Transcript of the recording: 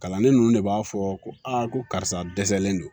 Kalanden ninnu de b'a fɔ ko ko karisa dɛsɛlen don